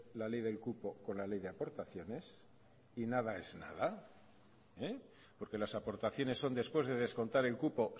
la ley del cupo con la ley de aportaciones y nada es nada porque las aportaciones son después de descontar el cupo